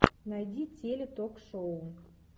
найди теле ток шоу